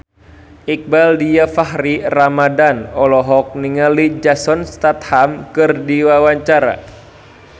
Iqbaal Dhiafakhri Ramadhan olohok ningali Jason Statham keur diwawancara